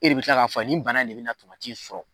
E de be kila k'a fɔ a ye ni bana in de bena na tomati sɔrɔ